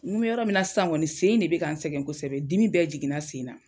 N bɛ yɔrɔ min na san sen in de bɛ ka ne sɛgɛn kosɛbɛ ,dimi bɛɛ jiginna n sen na.